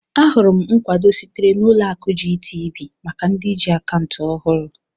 Ahụrụ m nkwado sitere na Ụlọ akụ GTB maka ndị ji akaụntụ ọhụrụ.